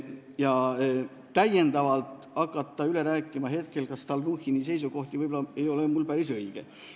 Mul ei oleks ehk päris õige hakata praegu Stalnuhhini seisukohti üle rääkima.